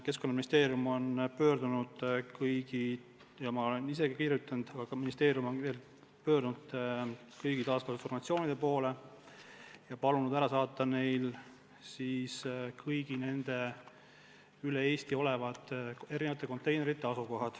Keskkonnaministeerium on ja ma ka ise olen pöördunud kõigi taaskasutusorganisatsioonide poole ja palunud saata info kõigi Eestis olevate erinevate konteinerite asukoha kohta.